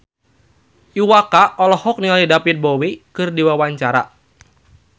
Iwa K olohok ningali David Bowie keur diwawancara